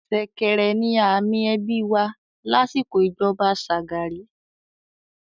“ ṣẹ̀kẹ̀rẹ̀” ni àmì ẹbí wà lásìkò ìjọba Shagari.